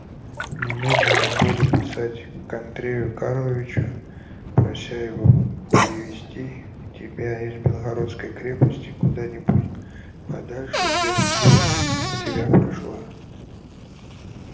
немедленно буду писать к андрею карловичу прося его перевести тебя из белогорской крепости куда-нибудь подальше где бы дурь у тебя прошла